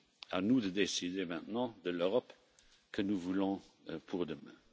À nous de décider maintenant de l'Europe que nous voulons pour demain.